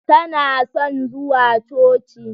Tana son zuwa Coci.